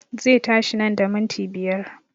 Zai tashi nan da minti biyar